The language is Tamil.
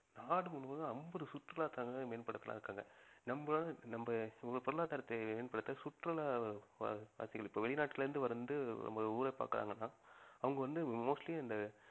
நாடு முழுவதும் அம்பது சுற்றுலா தலங்களை மேம்படுத்தலாம்னு இருக்காங்க நம்மளோட நம்ம பொருளாதாரத்தை மேம்படுத்த சுற்றுலா பா~ பார்த்தீங்கனா இப்ப வெளிநாட்டிலிருந்து வந்து நம்ம ஊரை பார்க்கறாங்கன்னா அவங்க வந்து mostly அந்த